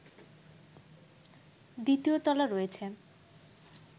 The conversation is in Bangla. দ্বিতীয় তলা রয়েছে